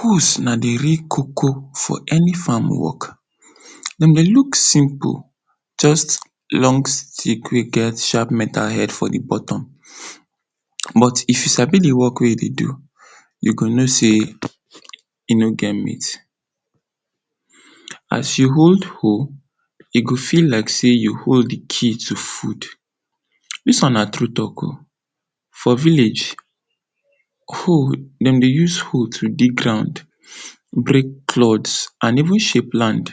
Hoes na di real koko for eni fam work, dem dey luk simple, just long stik wey get shap mental helt for di boton but if you sabi di work wey you dey do, you go no sey, e no get mate. As you hold hoe, e go be like sey you hold di cage of fud. Dis one na true talk o. for village, dem dey use hoe to dig ground, brek……? and even shape land.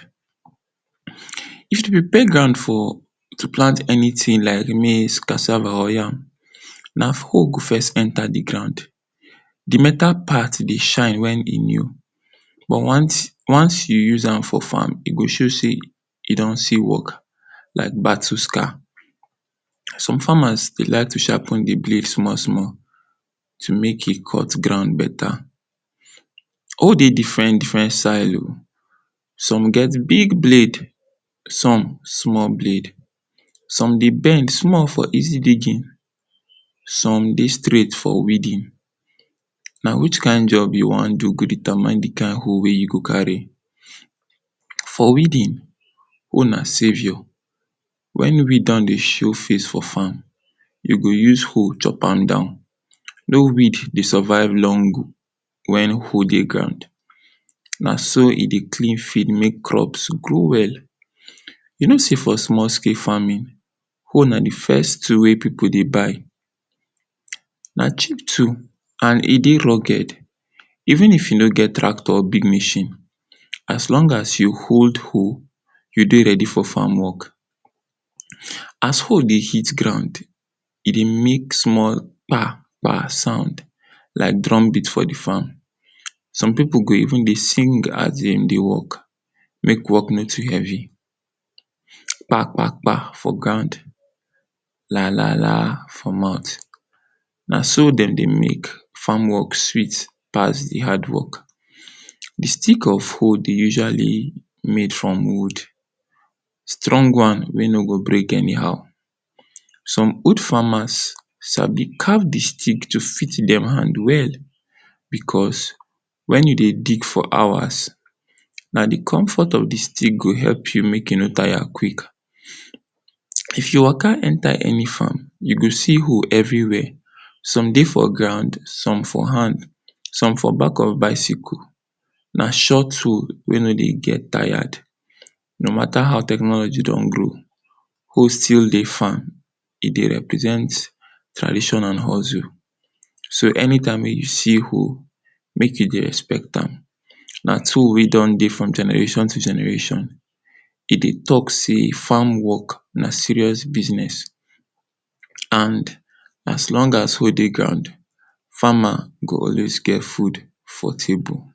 If you be pegan to plant enitin like maize, cassava or yam, na hoe go first enta di ground, di meta part dey shine wen e new but once you use am for fam e go show sey e don see work like battles car. Some famas dey liken to shap di blade small- small to make it cut di ground beta. Hoe dey diferent-diferent size o,som get big blade, som get small blade, som dey bend small for easy digin, som dey straight for weeding. Na which kind job you wan do go determine di hoe wey you go kari. For weeding hoe na savior, wen weed don dey show face for fam, you go use weed chop am down. No wee dey sovive long wen hoe dey ground. Na so e dey clean field mey crop grow well. You no sey for small scale famin, hoe na di first tool wey pipu dey buy, na cheap tool and e dey veri roged even though you no get tractor or big mashin, as long as you hold hoe. You don readi for fam. As hoe dey hit ground, e dey make small kpa! Kpa! Sound like drum beat for di fam. Som pipu go even dey sing as dem dey work make work no too hevi. Kpa! Kpa! Kpa! For ground, la! La! La! For mouth. Na so dem dey make fam work sweet pass di hard work. Di stik of hoe dey usually made from wud, strong one wey no go brek eni how, som old famas sabi caf di stik well to fit dem hand well, bicos wen you dey dig for hours, na di comfort of di stik go make you make you no tire quik. If you waka enta eni fam, you go see hoe everi where, som dey for ground, som for hand, som for bak of bicycle. Na short hoe wey no dey get tired. No mata how technology don grow hoe still dey fam. E dey represent tradition and hozu, so eni time wey you see hoe, make you dey respect am. Na tool wey don dey from generashon to generashon, e dey talk sey, fam work na serious bizness and as long as hoe dey fam, fama go always get fud for table.